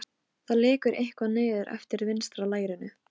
Á gólfinu vangaði stöku foreldri við fullorðið barn sitt.